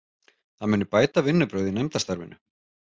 Það muni bæta vinnubrögð í nefndastarfinu